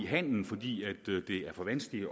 handelen fordi det er for vanskeligt